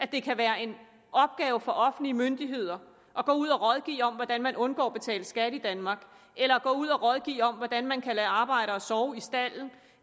det kan være en opgave for offentlige myndigheder at gå ud og rådgive om hvordan man undgår at betale skat i danmark eller gå ud og rådgive om hvordan man kan lade arbejdere sove i stalden